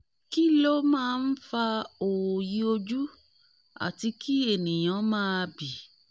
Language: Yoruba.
kí ló máa ń fa òòyì ojú àti kí ènìyàn máa bì?